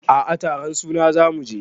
A a taron suna za mu je.